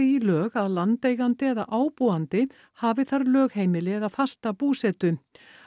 í lög að landeigandi eða ábúandi hafi þar lögheimili eða fasta búsetu